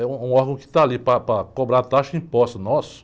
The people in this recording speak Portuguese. É um órgão que está ali para, para cobrar taxa de impostos nossos.